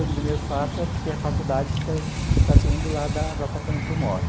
O primeiro fato é porque a faculdade fica praticamente do lado da do apartamento que eu moro.